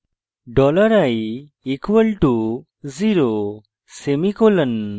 dollar i = zero semicolon